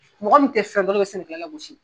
Mɔgɔ min tɛ fɛn dɔ o de bɛ sɛnɛkɛla lagosi.